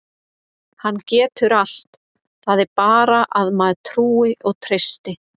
Hann getur allt, það er bara að maður trúi og treysti.